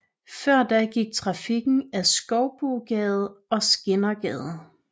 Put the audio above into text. Før da gik trafikken ad Skoubogade og Skindergade